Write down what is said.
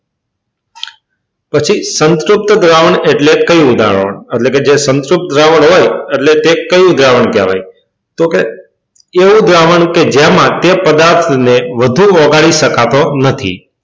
પછી સંતૃપ્ત દ્રાવણ એટલે કયું દ્રાવણ? પછી સંતૃપ્ત દ્રાવણ એટલે કયું દ્રાવણ એટલે કે જે સંતૃપ્ત દ્રાવણ હોય એટલે કે તે કયો દ્રાવણ કહેવાય તો કે એવું દ્રાવણ કે જેમાં તે પદાર્થને વધુ ઓગાળી શકાતો નથી.